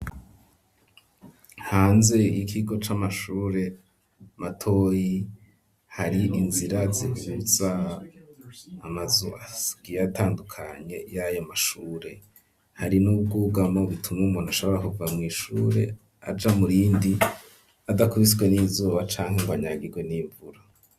Hanze, ikigo c'amashure matoyi ,hari inzira zihuza amazu agiyatandukanye, y'ayo mashure, hari n'ubwugamo butuma umuntu ashobora kuva mw' ishure, aja murindi ,adakubiswe n'izuba, canke ngo anyagirwe n'imvura.